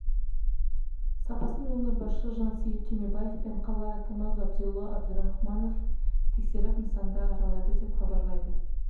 сапасын өңір басшысы жансейіт түймебаев пен қала әкімі ғабидолла әбдірахымов тексеріп нысанды аралады деп хабарлайды